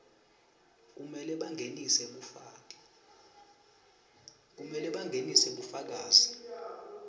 kumele bangenise bufakazi